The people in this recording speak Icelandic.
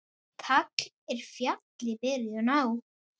Tagl er fjalli byrjun á.